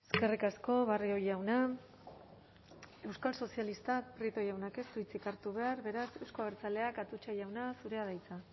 eskerrik asko barrio jauna euskal sozialistak rico jaunak ez du hitzik hartu behar beraz euzko abertzaleak atutxa jauna zurea da hitza